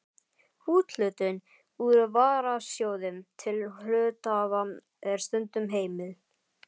Úthlutun úr varasjóði til hluthafa er stundum heimil.